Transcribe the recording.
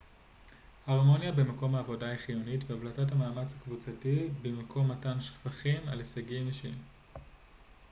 הרמוניה במקום העבודה היא חיונית והבלטת המאמץ הקבוצתי במקום מתן שבחים על הישגים אישיים